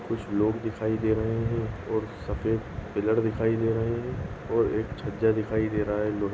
कुछ लोग दिखाई दे रहे है और सफेद पिलर दिखाई दे रहे है और एक छज्जा दिखाई दे रहा है लो--